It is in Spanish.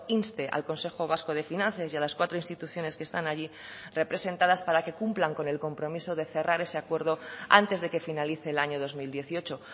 inste al consejo vasco de finanzas y a las cuatro instituciones que están allí representadas para que cumplan con el compromiso de cerrar ese acuerdo antes de que finalice el año dos mil dieciocho